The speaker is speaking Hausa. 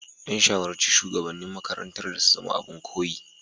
An shawarci shugabannin makarantar da su zama abin koyi.